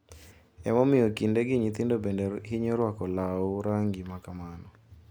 Ema omiyo kindegi nyithindo bende hinyo rwako law rangi makamano.